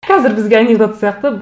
қазір бізге анекдот сияқты